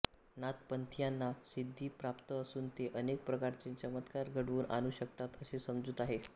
नाथपंथीयांना सिद्घी प्राप्त असून ते अनेक प्रकारचे चमत्कार घडवून आणू शकतात अशी समजूत आहे